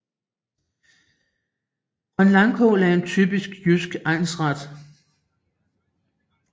Grønlangkål er en typisk jysk egnsret